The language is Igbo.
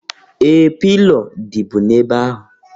Ee! Pilo dịbu n'ebe ahụ.